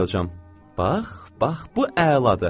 Bax, bax, bu əladır.